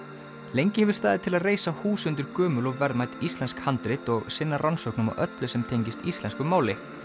lengi hefur staðið til að reisa hús undir gömul og verðmæt íslensk handrit og sinna rannsóknum á öllu sem tengist íslensku máli